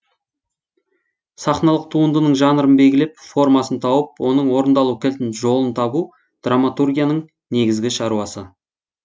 сахналық туындының жанрын белгілеп формасын тауып оның орындалу кілтін жолын табу драматургияның негізгі шаруасы